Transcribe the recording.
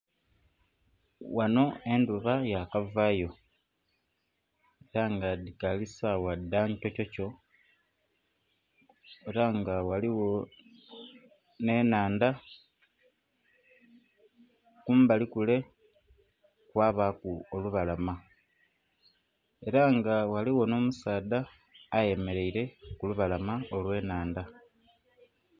Wano endhuba yakavayo era nga dhikali sawa dhankyokyokyo era nga ghaligho n'enhandha, kumbali kule kwabaku olubalama era nga ghaligho n'omusaadha ayemeraire kulubalama olwenhandha.